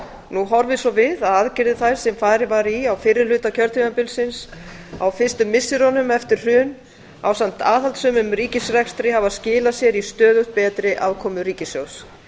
nú horfir svo við að aðgerðir þær sem farið var í á fyrri hluta kjörtímabilsins á fyrstu misserum eftir hrun ásamt aðhaldssömum ríkisrekstri hafa skilað sér í stöðugt betri afkomu ríkissjóðs